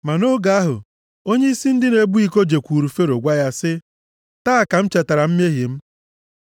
Ma nʼoge ahụ, onyeisi ndị na-ebu iko jekwuuru Fero gwa ya sị, “Taa ka m chetara mmehie m.